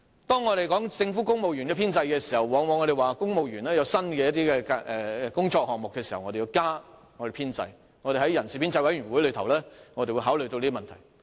當我們談論政府公務員的編制時，往往會說，公務員有新工作項目時，便要增加其編制，我們在人事編制小組委員會內會考慮這些問題。